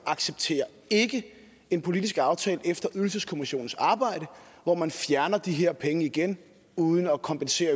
accepterer en politisk aftale efter ydelseskommissionens arbejde hvor man fjerner de her penge igen uden at kompensere